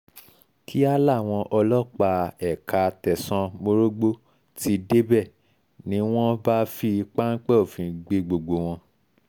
kíá làwọn ọlọ́pàá ẹ̀ka tẹ̀sán morogbo ti débẹ̀ ni wọ́n bá fi pápẹ́ òfin gbé gbogbo wọn